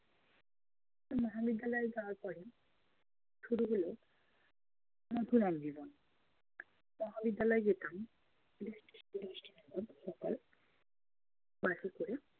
তো মহাবিদ্যালয়ে যাওয়ার পরে শুরু হলো নতুন এক জীবন। মহাবিদ্যালয়ে যেতাম সকাল সকাল বাসে করে